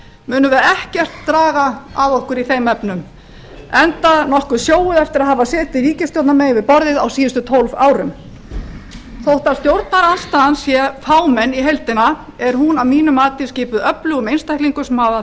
munum við ekkert draga af okkur í þeim efnum enda sjóuð eftir að hafa setið ríkisstjórnarmegin við borðið á síðustu tólf árum þótt stjórnarandstaðan í heild er fámenn er hún að mínu mati skipuð öflugum einstaklingum sem hafa